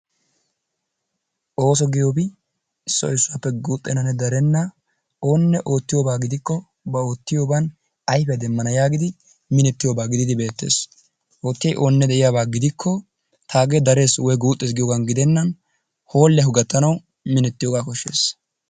Ooso giyoobi issoy issuwaappe guxxenanne darenna oonne ottiyooba gidikko ba oottiyooban ayfiyaa demmana yaagidi minnettiyoobaa giididi beettees. Oottiyay de'iyaaba gidikko taagee dares woykko guuxees geenan hoolliyaakko gaattanawu beessees.